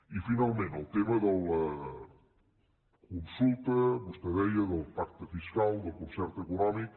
i finalment el tema de la consulta vostè ho deia del pacte fiscal del concert econòmic